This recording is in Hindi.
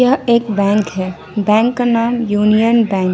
यह एक बैंक है बैंक का नाम यूनियन बैंक --